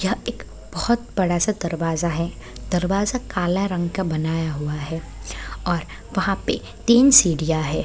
यह इक बोहोत बड़ा सा दरवाज़ा है दरवाज़ा काला रंग का बनाया हुआ है और वहाँ पे तीन सीढ़ियाँ है।